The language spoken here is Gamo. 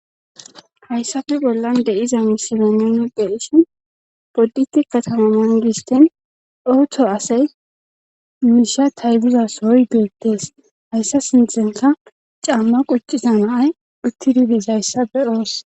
Hayssafe bollan de7iza misibeneni de ishin podditi katamananghistin owto asay miisha taybuza soy geettees hayssa sinthenka camma quccisa naay utti dibis hayssa be ooss.